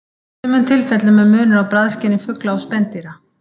Í sumum tilfellum er munur á bragðskyni fugla og spendýra.